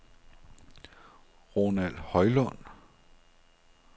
Ronald Højlund